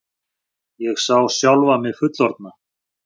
Ég sá sjálfa mig fullorðna.